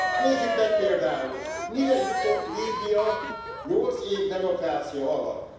Nézzük meg például, mire jutott Líbia nyolc év demokrácia alatt.